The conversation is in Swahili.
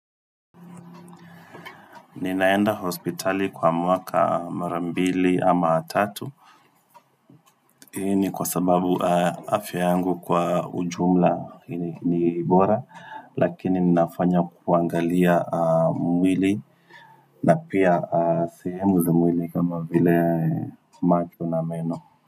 Ninaenda hospitali kwa mwaka mara mbili ama tatu hii ni kwa sababu afya yangu kwa ujumla ni bora lakini ninafanya kuangalia mwili na pia sehemu za mwili kama vile macho na meno.